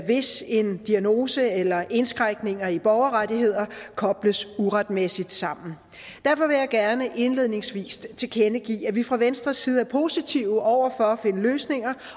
hvis en diagnose eller indskrænkninger i borgerrettigheder kobles uretmæssigt sammen derfor vil jeg gerne indledningsvis tilkendegive at vi fra venstres side er positive over for at finde løsninger